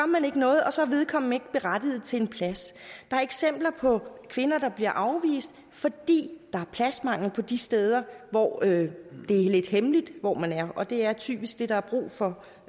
man ikke noget og så er vedkommende ikke berettiget til en plads der er eksempler på kvinder der bliver afvist fordi der er pladsmangel de steder hvor det er lidt hemmeligt hvor man er og det er typisk det der er brug for